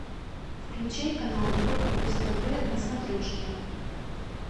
включай канал европа плюс тв на смотрешке